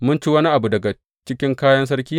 Mun ci wani abu daga cikin kayan sarki ne?